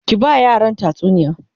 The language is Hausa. ki ba yaran tatsuniya!